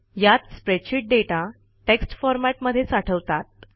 यात spreadsheet data text format मध्ये साठवतात